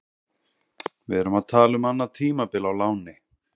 Við erum að tala um annað tímabil á láni.